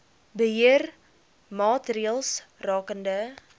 beheer maatreëls rakende